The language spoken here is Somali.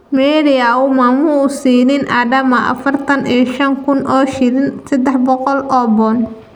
Mary Auma ma uu siinin Adama afartan iyo shan kun oo shilin- sadex boqol oo pond.